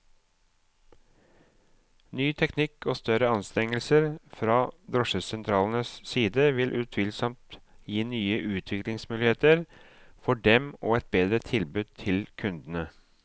Ny teknikk og større anstrengelser fra drosjesentralenes side vil utvilsomt gi nye utviklingsmuligheter for dem og et bedre tilbud til kundene.